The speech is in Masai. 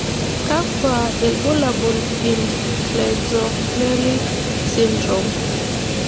kakwa ibulaul in Cleidorhizomelic syndrome.